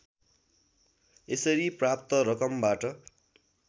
यसरी प्राप्त रकमबाट